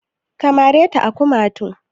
Ka mare ta a kumatu?